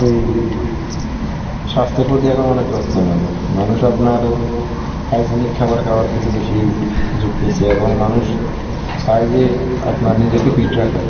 এই স্বাস্থ্যের প্রতি এখন অনেক যত্নবান. মানুষ আপনার hygienic খাবার খাওয়ার প্রতি বেশী যুক্তছে এবং মানুষ চায় যে আপনার নিজেকে fit রাখার.